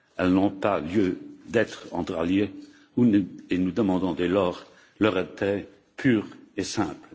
Elles n'ont pas lieu d'être entre alliés et nous demandons dès lors leur retrait pur et simple.